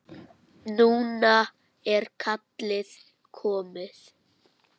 Núna er kallið komið.